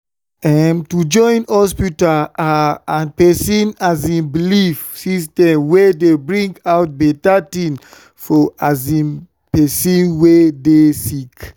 em- to join hospita ah and pesin um belief system dey bring out beta tin for um pesin wey dey sick